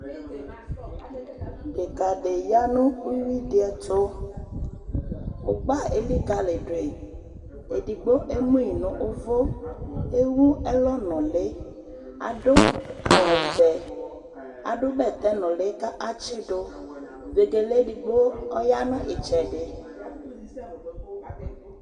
Ɔsietsu dɩ ya nʊ uwi dɩ ɛtʊ, ugbanɩ elikaliyidʊ edigbo emu yi nʊ ʊvʊ, ɔsietsu yɛ ewu ɛlɔ nuli, adʊ awuvɛ, adʊ bɛtɛ nuli, katsidʊ, ɔsietsu yɛ ɛdɩ ya nu itsɛdɩ